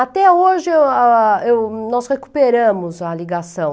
Até hoje ah, hm, nós recuperamos a ligação.